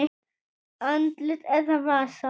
Andlit eða vasa?